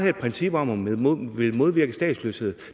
et princip om at ville modvirke statsløshed